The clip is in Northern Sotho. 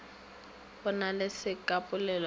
go na le sekapolelo ka